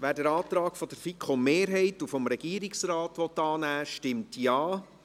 Wer den Antrag der FiKo-Mehrheit und des Regierungsrates annehmen will, stimmt Ja,